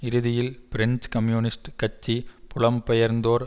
இறுதியில் French communist கட்சி புலம்பெயர்ந்தோர்